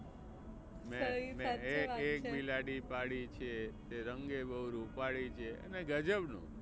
મેં મેં એક એક બિલાડી પાળી છે તે રંગે બહુ રૂપાળી છે અને ગજબ નું.